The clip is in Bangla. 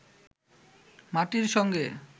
মাটির সঙ্গে